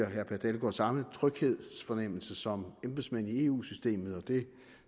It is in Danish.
herre per dalgaard samme tryghedsfornemmelse som embedsmænd i eu systemet det